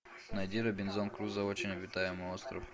найди робинзон крузо очень обитаемый остров